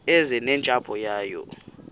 eze nentsapho yayo